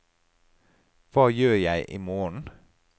hva gjør jeg imorgen